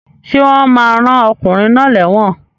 Sé wón ma rán okùnrin náà léwòn